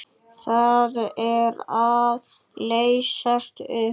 Það er að leysast upp.